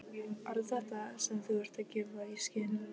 Ekkert víst að hann gleypti það hrátt sem hann segði.